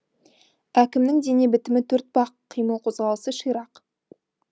әкімнің дене бітімі төртбақ қимыл қозғалысы ширақ